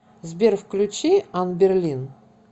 сбер включи анберлин